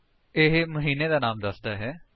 ਇਹ ਮਹੀਨੇ ਦਾ ਨਾਮ ਦੱਸਦਾ ਹੈ